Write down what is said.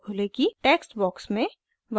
text box में